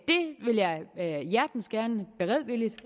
hjertens gerne beredvilligt